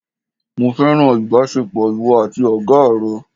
Mo fẹ́ràn ìbásepọ̀ ìwọ àti Ọ̀gá rẹ̀